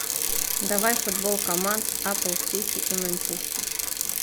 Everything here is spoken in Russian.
давай футбол команд апл сити и манчестер